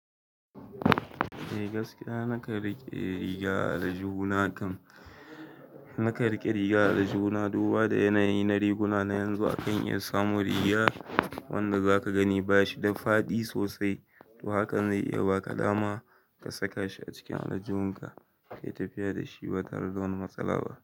Eh gaskiya na kan riƙe riga a aljihu na kan. Na ka riƙe riga a aljihu na duba da yanayi na riguna na yanzu akan iya samu riga wanda zaka gani bashi da faɗi sosai. To hakan zai iya baka dama ka saka shi a cikin aljihinka, kai tafiya da shi ba tare da wani matsala ba.